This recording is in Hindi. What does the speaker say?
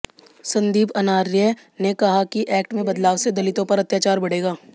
संदीप अनार्य ने कहा कि एक्ट में बदलाव से दलितों पर अत्याचार बढ़ेगा